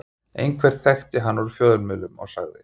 Einhver þekkti hann úr fjölmiðlum og sagði